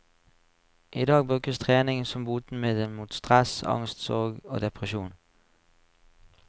I dag brukes trening som botemiddel mot stress, angst, sorg og depresjon.